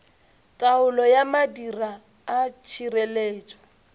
taolo ya madira a tšhireletšo